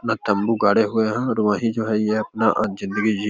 तंबू गाड़े हुए है और वही जो है ये अपना जिंदगी जी --